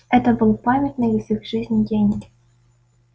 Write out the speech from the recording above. это был памятный в их жизни день